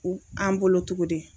U an bolo togo di